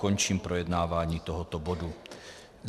Končím projednávání tohoto bodu.